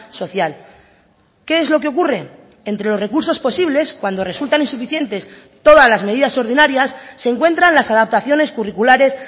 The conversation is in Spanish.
social qué es lo que ocurre entre los recursos posibles cuando resultan insuficientes todas las medidas ordinarias se encuentran las adaptaciones curriculares